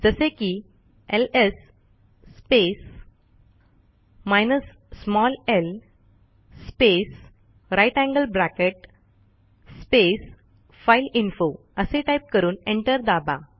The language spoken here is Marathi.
जसे की LS space hyphen L space greater than sign space file info असे टाईप करून एंटर दाबा